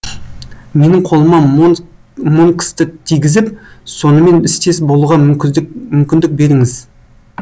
менің қолыма монксті тигізіп сонымен істес болуға мүмкіндік мүмкіндік беріңіз